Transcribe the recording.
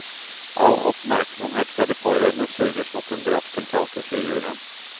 All oppmerksomhet fra de pårørende suges mot den drapstiltalte, sier juryen.